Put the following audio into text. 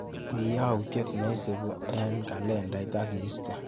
Wiiy yautyet neisupi eng kalendait akiistee.